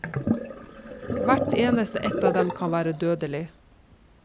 Hvert eneste ett av dem kan være dødelig.